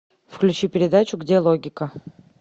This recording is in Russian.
включи передачу где логика